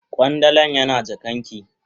Kwandalan yana kakan ki.